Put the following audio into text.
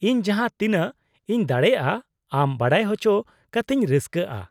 ᱤᱧ ᱡᱟᱦᱟᱸ ᱛᱤᱱᱟᱹᱜ ᱤᱧ ᱫᱟᱲᱮᱭᱟᱜᱼᱟ ᱟᱢ ᱵᱟᱰᱟᱭ ᱦᱚᱪᱚ ᱠᱟᱛᱤᱧ ᱨᱟᱹᱥᱠᱟᱹᱜᱼᱟ ᱾